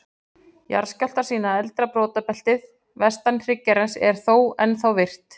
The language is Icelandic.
Jarðskjálftar sýna að eldra brotabeltið, vestan hryggjarins, er þó ennþá virkt.